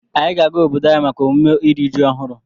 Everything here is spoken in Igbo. Anyị ga-aga obodo anyị maka emume iri ji ọhụrụ.